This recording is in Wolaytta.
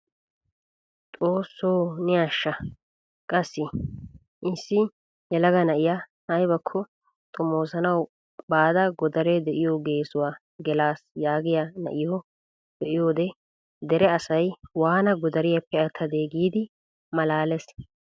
Xoosso ne asha qassi! issi yelaga na'iyaa aybakko xoomosanawu baada godaree de'iyoo geessuwaa gelas yaagiyaa na'iyoo be'iyoode dere asay waana gidariyaappe attadee giidi malalees!